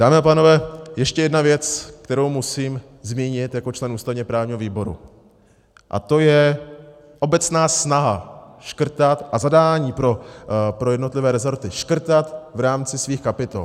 Dámy a pánové, ještě jedna věc, kterou musím zmínit jako člen ústavně-právního výboru, a to je obecná snaha škrtat, a zadání pro jednotlivé resorty, škrtat v rámci svých kapitol.